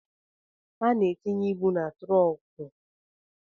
A na-etinye ịbụ na trunku